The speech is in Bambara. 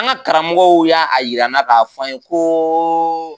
An karamɔgɔw y'a yira an na k'a fɔ an ye koo.